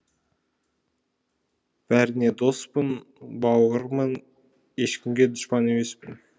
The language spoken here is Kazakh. бәріңе доспын бауырмын ешкімге дұшпан емеспін